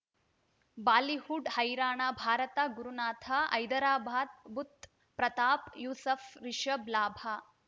Bollywood ಹೈರಾಣ ಭಾರತ ಗುರುನಾಥ ಹೈದರಾಬಾದ್ ಬುಧ್ ಪ್ರತಾಪ್ ಯೂಸುಫ್ ರಿಷಬ್ ಲಾಭ